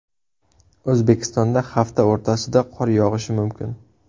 O‘zbekistonda hafta o‘rtasida qor yog‘ishi mumkin.